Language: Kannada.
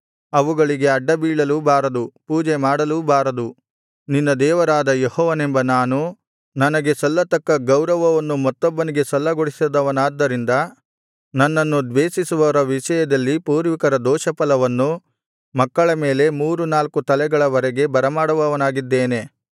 ಅವುಗಳಿಗೆ ಅಡ್ಡಬೀಳಲೂ ಬಾರದು ಪೂಜೆಮಾಡಲೂ ಬಾರದು ನಿನ್ನ ದೇವರಾದ ಯೆಹೋವನೆಂಬ ನಾನು ನನಗೆ ಸಲ್ಲತಕ್ಕ ಗೌರವವನ್ನು ಮತ್ತೊಬ್ಬನಿಗೆ ಸಲ್ಲಗೊಡಿಸದವನಾದ್ದರಿಂದ ನನ್ನನ್ನು ದ್ವೇಷಿಸುವವರ ವಿಷಯದಲ್ಲಿ ಪೂರ್ವಿಕರ ದೋಷಫಲವನ್ನು ಮಕ್ಕಳ ಮೇಲೆ ಮೂರು ನಾಲ್ಕು ತಲೆಗಳ ವರೆಗೆ ಬರಮಾಡುವವನಾಗಿದ್ದೇನೆ